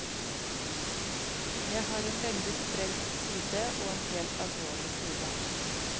Jeg har en veldig sprelsk side og en helt alvorlig side.